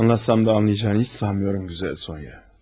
Anlatsam da anlayacağını heç sanmıyorum, gözəl Sonya.